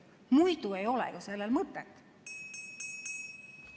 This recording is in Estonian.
Muidu ei ole ju sellel mõtet.